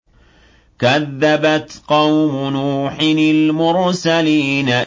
كَذَّبَتْ قَوْمُ نُوحٍ الْمُرْسَلِينَ